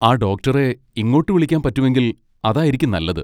ആ, ഡോക്ടറെ ഇങ്ങോട്ട് വിളിക്കാൻ പറ്റുമെങ്കിൽ അതായിരിക്കും നല്ലത്.